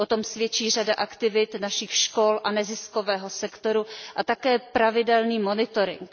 Svědčí o tom řada aktivit našich škol a neziskového sektoru a také pravidelný monitoring.